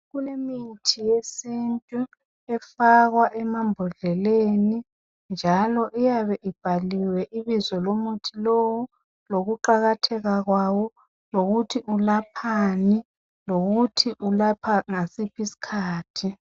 Kulomuthi wesintu ofakwa emambodleleni njalo uyabe ubhaliwe ibizo lomuthi lowu lokuqakatheka kwayo lokuthi ulaphani lokuthi unathwa ngasiphi isikhathi.